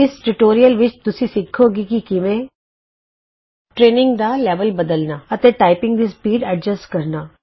ਇਸ ਟਯੂਟੋਰੀਅਲ ਵਿਚ ਤੁਸੀਂ ਸਿੱਖੋਗੇ ਕਿ ਕਿਵੇਂ160 ਟਰੇਨਿੰਗ ਦਾ ਲੈਵਲ ਬਦਲਨਾ ਅਤੇ ਟਾਈਪਿੰਗ ਦੀ ਸਪੀਡ ਅਨੁਕੂਲ ਕਰਨਾ